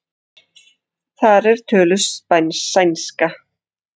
Þar er töluð sænska.